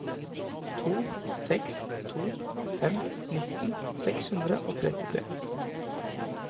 to seks to fem nitten seks hundre og trettitre